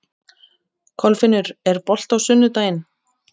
Kolfinnur, er bolti á sunnudaginn?